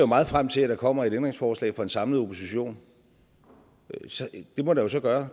meget frem til at der kommer et ændringsforslag fra en samlet opposition det må der så gøre